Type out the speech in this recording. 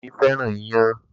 Dámi fẹ́ràn iyán